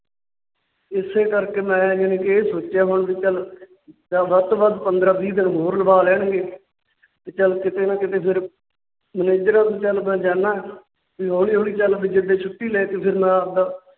ਇਸੇ ਕਰਕੇ ਮੈ ਯਾਨੀ ਕਿ ਇਹ ਸੋਚਿਆ ਵਾ ਕਿ ਵੱਧ ਤੋਂ ਵੱਧ ਪੰਦਰਾਂ ਵੀਹ ਦਿਨ ਹੋਰ ਲਵਾ ਲੈਣਗੇ। ਚਲ ਕਿਤੇ ਨਾ ਕਿਤੇ ਫਿਰ manager ਵੱਲ ਚਲ ਜਾਣਾ ਤੇ ਹੋਲੀ ਹੋਲੀ ਚੱਲ ਫਿਰ ਮੈ ਛੁੱਟੀ ਲੈਕੇ ਫਿਰ ਮੈਂ ਨਾ ਆਉਂਦਾ